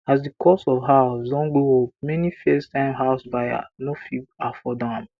as the cost of house don go up many first time house buyer no fit afford am